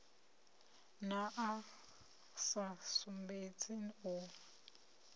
na a sa sumbedzi u